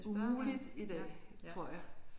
Umuligt i dag tror jeg